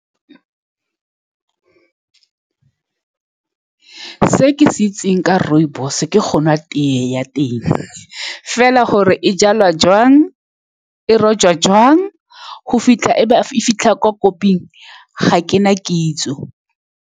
Se ke se itseng ka rooibos-e ke go nwa tea ya teng fela, gore e jalwa jang, e rojwa jang go fitlha e ba fitlha kwa kopiwang, ga ke na kitso.